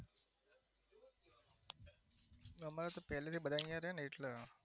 અમારે તો family બધા અહિયાં રે ને એટલે